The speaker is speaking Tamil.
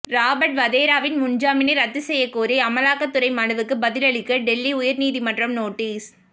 ராபர்ட் வதேராவின் முன்ஜாமினை ரத்து செய்யக்கோரிய அமலாக்கத்துறை மனுவுக்கு பதிலளிக்க டெல்லி உயர்நீதிமன்றம் நோட்டீஸ்